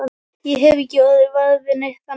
Ég hef ekki orðið var við neitt, þannig.